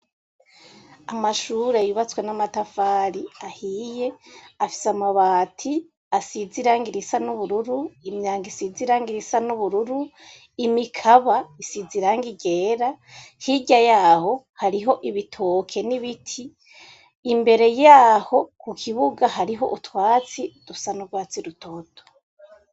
Amashure yubatswe n'amatafari ahiye afise amabati asiz iranga irisa n'ubururu imyanga isize iranga irisa n'ubururu imikaba isiz iranga igera hijya yaho hariho ibitoke n'ibiti imbere yaho ku kibuga hariho utwatsi dusa n'urwatsi rutoto.